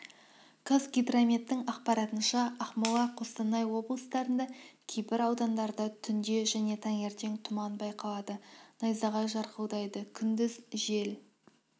қазгидрометтің ақпаратынша ақмола қостанай облыстарында кейбір аудандарда түнде және таңертең тұман байқалады найзағай жарқылдайды күндіз жел